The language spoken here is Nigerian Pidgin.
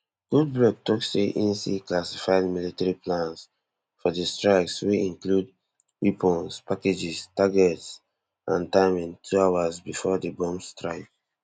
goldberg tok say im see classified military plans for di strikes wey include weapons packages targets and timing two hours bifor di bombs strike